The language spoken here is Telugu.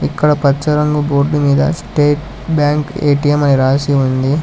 ఇక్కడ పచ్చ రంగు బోర్డు మీద స్టేట్ బ్యాంక్ ఎ_టి_ఎం అని రాసి ఉంది.